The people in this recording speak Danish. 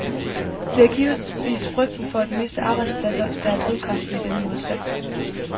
Det er givetvis frygten for at miste arbejdspladser, der er drivkraften i denne modstand.